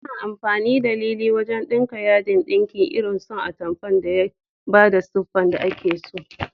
Ana amfani da lilin wajan ɗinka yadin ɗinki irin so atamfa dan ya bada siffar da ake so.